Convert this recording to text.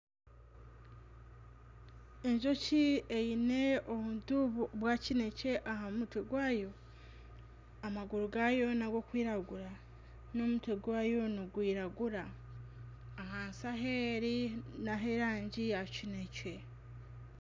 Enjoki eine obuntu bwa kinekye aha mutwe gwayo , amaguru gayo nag'okwiragura n'omutwe gwayo nigwiragura ahansi ahi eri nah'erangi ya kinekye.